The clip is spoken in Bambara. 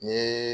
Ni